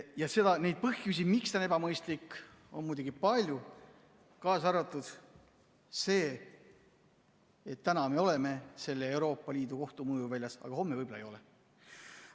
Ja neid põhjusi, miks see on ebamõistlik, on muidugi palju, kaasa arvatud see, et täna me oleme Euroopa Liidu Kohtu mõjuväljas, aga homme võib-olla ei ole.